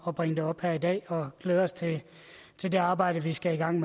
at bringe det op her i dag og glæder os til det arbejde vi skal i gang